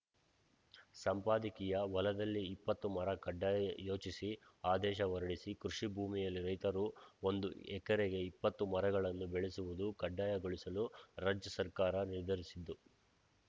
ಸಂಪಾದಕೀಯ ಹೊಲದಲ್ಲಿ ಇಪ್ಪತ್ತು ಮರ ಕಡ್ಡಾಯ ಯೋಚಿಸಿ ಆದೇಶ ಹೊರಡಿಸಿ ಕೃಷಿ ಭೂಮಿಯಲ್ಲಿ ರೈತರು ಒಂದು ಎಕರೆಗೆ ಇಪ್ಪತ್ತು ಮರಗಳನ್ನು ಬೆಳೆಸುವುದು ಕಡ್ಡಾಯಗೊಳಿಸಲು ರಾಜ್ಯ ಸರ್ಕಾರ ನಿರ್ಧರಿಸಿದ್ದು